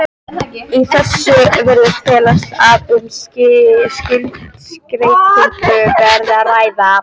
Í þessu virðist felast að um skuldskeytingu verði að ræða.